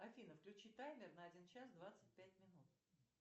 афина включи таймер на один час двадцать пять минут